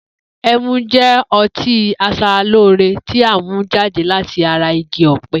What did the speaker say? E̩mu jé̩ o̩tí as̩aralóore tí a mú jáde láti ara igi ò̩pe̩